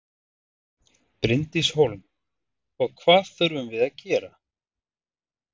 Bryndís Hólm: Og hvað þurfum við að gera?